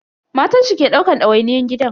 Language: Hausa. Matan shi ke daukan dawainiyyan gidan.